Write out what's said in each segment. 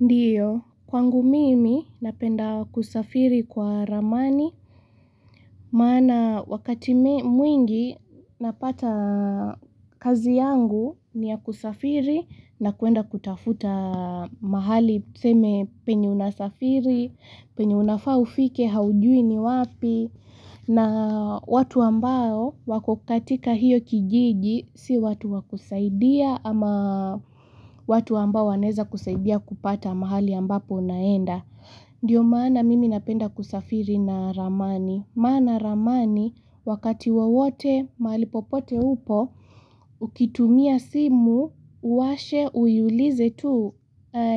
Ndiyo kwangu mimi napenda kusafiri kwa ramani maana wakati mwingi napata kazi yangu ni ya kusafiri na kwenda kutafuta mahali tuseme penye unasafiri, penye unafaa ufike haujui ni wapi na watu ambao wako katika hiyo kijiji si watu wa kusaidia ama watu ambao wanaweza kusaidia kupata mahali ambapo naenda. Ndiyo maana mimi napenda kusafiri na ramani. Maana ramani wakati wowote mahali popote upo ukitumia simu uwashe uiulize tu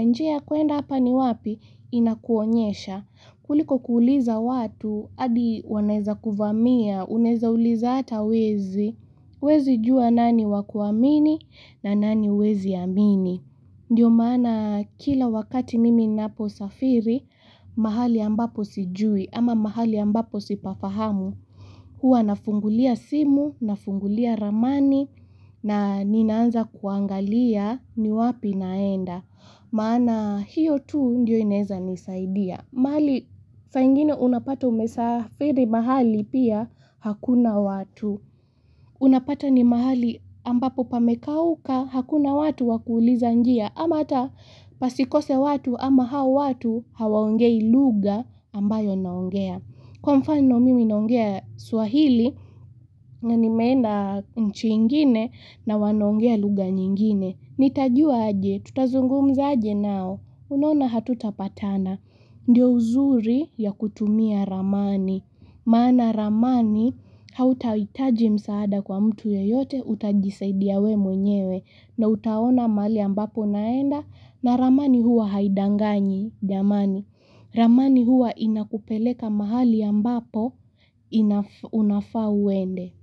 njia ya kwenda hapa ni wapi inakuonyesha. Kuliko kuuliza watu, hadi wanaweza kuvamia, unaweza uliza hata wezi, huwezi jua nani wa kuamini na nani huwezi amini. Ndiyo maana kila wakati mimi ninaposafiri mahali ambapo sijui ama mahali ambapo sipafahamu. Huwa nafungulia simu, nafungulia ramani na ninaanza kuangalia ni wapi naenda. Maana hiyo tu ndiyo inaweza nisaidia mahali saa ingine unapata umesafiri mahali pia hakuna watu Unapata ni mahali ambapo pamekauka hakuna watu wa kuuliza njia ama hata pasikose watu ama hao watu hawaongei lugha ambayo naongea kwa mfano mimi naongea Swahili na nimeenda nchi ingine na wanaongea lugha nyingine Nitajua aje, tutazungumza aje nao, unaona hatutapatana, ndiyo uzuri ya kutumia ramani, maana ramani hautahitaji msaada kwa mtu yeyote utajisaidia wewe mwenyewe na utaona mahali ambapo unaenda na ramani huwa haidanganyi jamani, ramani huwa inakupeleka mahali ambapo unafaa uende.